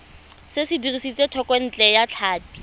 se dirisitswe thekontle ya tlhapi